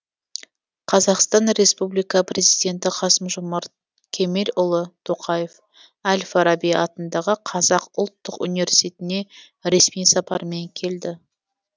қазақстан республика президенті қасым жомарт кемелұлы тоқаев әл фараби атындағы қазақ ұлттық университетіне ресми сапармен келді